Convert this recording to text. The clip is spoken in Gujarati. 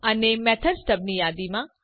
અને મેથડ સ્ટબ ની યાદીમાં